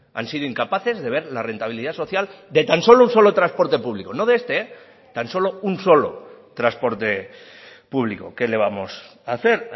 han sido incapaces de ver la rentabilidad social de tan solo un solo transporte público no de este tan solo un solo transporte público qué le vamos a hacer